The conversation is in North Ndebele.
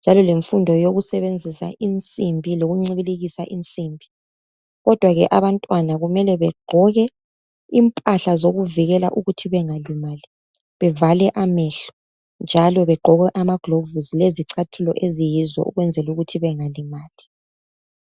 njalo lemfundo yekusebenzisa insimbi lokuncibilikisa insimbi. Kodwa ke abantwana kumele begqoke imphahla zokuvikela ukuthi bengalimali bevale amehlo njalo begqoke amaglovosi lezicathulo eziyizo ukwenzela ukuthi bengalimali.